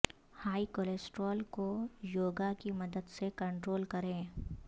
high cholesterol کو یوگا کی مدد سے کنٹرول کریں